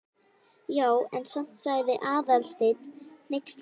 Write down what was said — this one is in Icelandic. Já, en samt sagði Aðalsteinn hneykslaður.